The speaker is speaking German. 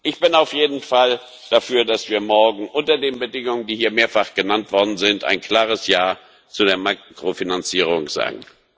Ich bin auf jeden Fall dafür, dass wir morgen unter den Bedingungen, die hier mehrfach genannt worden sind, ein klares Ja zu der Makrofinanzierung sagen.